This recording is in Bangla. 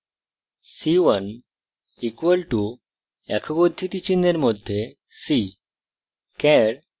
char c1 = একক উদ্ধৃতিচিহ্নের মধ্যে c